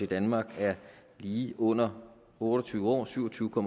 danmark er lige under otte og tyve år syv og tyve